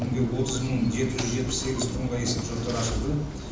бүгінде отыз мың жеті жүз жетпіс сегіз тұрғынға есепшоттар ашылды